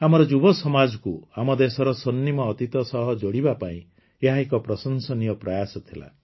ଆମର ଯୁବସମାଜକୁ ଆମ ଦେଶର ସ୍ୱର୍ଣ୍ଣର୍ିମ ଅତୀତ ସହ ଯୋଡ଼ିବା ପାଇଁ ଏହା ଏକ ପ୍ରଶଂସନୀୟ ପ୍ରୟାସ ଥିଲା